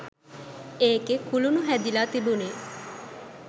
ඒකෙ කුළුණු හැදිලා තිබුණෙ